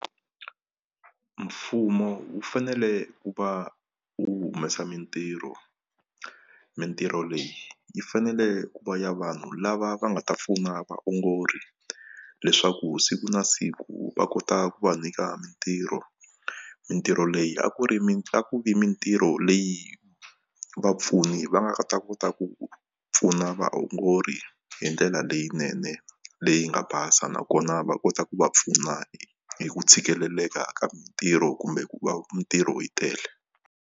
Mfumo wu fanele ku va wu humesa mintirho, mintirho leyi yi fanele ku va ya vanhu lava va nga ta pfuna vaongori leswaku siku na siku va kota ku va nyika mintirho mintirho leyi a ku ri a ku vi mintirho leyi vapfuni va nga ta kota ku pfuna vaongori hi ndlela leyinene leyi nga basa nakona va kota ku va pfuna hi ku tshikeleleka ka mintirho kumbe ku va mintirho yi tele.